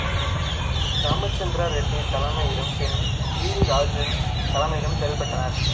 ராமச்சந்திர ரெட்டி தலைமையிலும் பின் P T Rajan தலைமையிலும் செயல்பட்டனர்